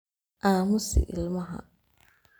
Aamus ilmaha